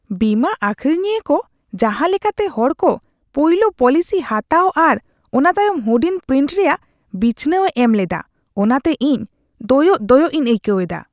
ᱵᱤᱢᱟᱹ ᱟᱹᱠᱷᱨᱤᱧᱤᱭᱟᱹ ᱠᱚ ᱡᱟᱦᱟᱸ ᱞᱮᱠᱟᱛᱮ ᱦᱚᱲ ᱠᱚ ᱯᱳᱭᱞᱳ ᱯᱚᱞᱤᱥᱤ ᱦᱟᱛᱟᱣ ᱟᱨ ᱚᱱᱟ ᱛᱟᱭᱚᱢ ᱦᱩᱰᱤᱧ ᱯᱨᱤᱱᱴ ᱨᱮᱭᱟᱜ ᱵᱤᱪᱷᱱᱟᱹᱣ ᱮ ᱮᱢ ᱞᱮᱫᱟ, ᱚᱱᱟᱛᱮ ᱤᱧ ᱫᱚᱭᱚᱜ ᱫᱚᱭᱚᱜ ᱤᱧ ᱟᱹᱭᱠᱟᱹᱣ ᱮᱫᱟ ᱾